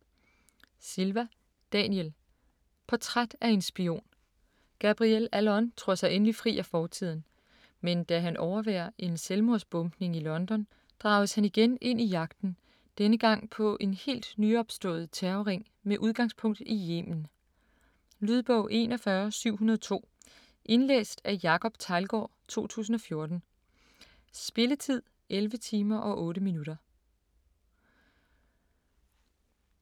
Silva, Daniel: Portræt af en spion Gabriel Allon tror sig endelig fri af fortiden, men da han overværer en selvmordsbombning i London, drages han igen ind i jagten: denne gang på en helt nyopstået terrorring med udgangspunkt i Yemen. Lydbog 41702 Indlæst af Jacob Teglgaard, 2014. Spilletid: 11 timer, 8 minutter.